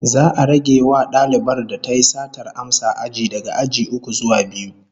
Za'a rage wa dalibar da tayi satar amsa aji daga aji uku zuwa biyu